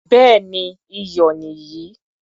Béèni iyọ̀ nì yìí.